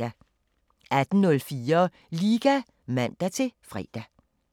18:04: Liga (man-fre)